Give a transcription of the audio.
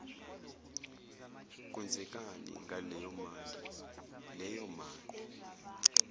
kwenzekani ngaleyomali leyomali